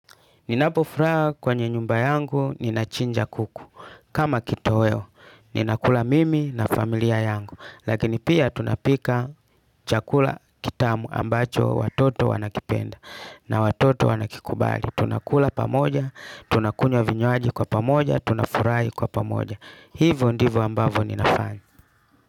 Ninapo furaha kwenye nyumba yangu ninachinja kuku. Kama kitoweo, ninakula mimi na familia yangu. Lakini pia tunapika chakula kitamu ambacho watoto wanakipenda na watoto wanakikubali. Tunakula pamoja, tunakunywa vinywaji kwa pamoja, tunafurahi kwa pamoja. Hivo ndivo ambavo ninafanya.